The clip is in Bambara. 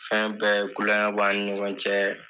Fɛn bɛɛ kuol kɛ bɛ ani ɲɔgɔn cɛ